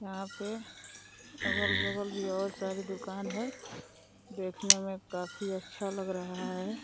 यहाँ पे अगल बगल भी और सारी दुकान है। देखने में काफी अच्छा लग रहा है।